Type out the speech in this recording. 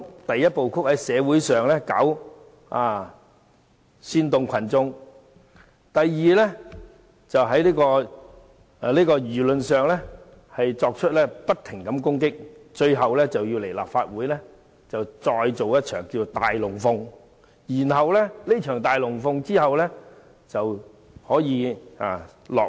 第一，在社會上煽動群眾；第二，在輿論上不停攻擊；最後，在立法會做一場"大龍鳳"，完成這場"大龍鳳"後，便可以落幕。